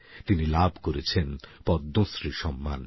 তিনি লাভ করেছেন পদ্মশ্রী সম্মান